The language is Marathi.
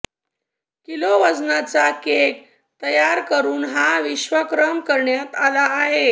किलो वजनाचा केक तयार करून हा विश्वविक्रम करण्यात आला आहे